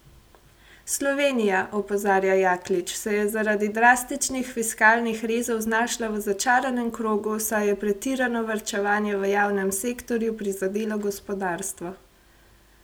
Slovenija, opozarja Jaklič, se je zaradi drastičnih fiskalnih rezov znašla v začaranem krogu, saj je pretirano varčevanje v javnem sektorju prizadelo gospodarstvo.